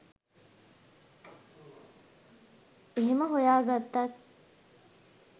එහෙම හොයාගත්තත්